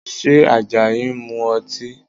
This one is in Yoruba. Ṣé Àjàyí ń mu ọtí?